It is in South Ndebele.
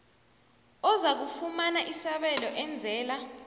ozakufumana isabelo enzela